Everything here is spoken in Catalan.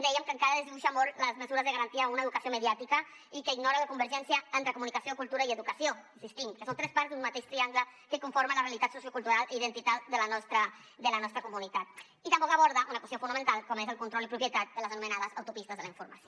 dèiem que encara desdibuixa molt les mesures de garantia a una educació mediàtica i que ignora la convergència entre comunicació cultura i educació hi insistim que són tres parts d’un mateix triangle que conformen la realitat sociocultural i identitària de la nostra comunitat i tampoc aborda una qüestió fonamental com és el control i propietat de les anomenades autopistes de la informació